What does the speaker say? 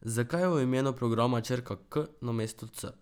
Zakaj je v imenu programa črka K namesto C?